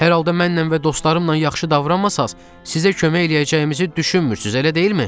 Hər halda mənlə və dostlarımla yaxşı davranmasanız, sizə kömək eləyəcəyimizi düşünmürsüz, elə deyilmi?